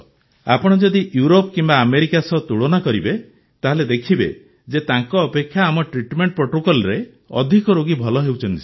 ଆପଣ ଯଦି ଇଉରୋପ କିମ୍ବା ଆମେରିକା ସହ ତୁଳନା କରିବେ ତାହେଲେ ଦେଖିବେ ଯେ ତାଙ୍କ ଅପେକ୍ଷା ଆମ ଟ୍ରିଟମେଣ୍ଟ ପ୍ରୋଟୋକଲ୍ରେ ଅଧିକ ରୋଗୀ ଭଲ ହେଉଛନ୍ତି ସାର୍